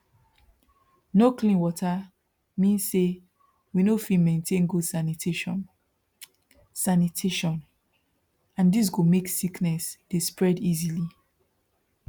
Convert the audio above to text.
no clean water mean say we no fit maintain good sanitation sanitation and this go make sickness dey spread easily